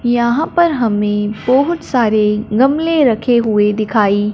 यहां पर हमें बहुत सारे गमले रखे हुए दिखाई--